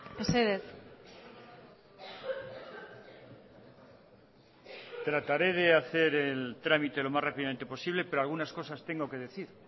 mesedez tratare de hacer el trámite lo más rápidamente posible pero algunas cosas tengo que decir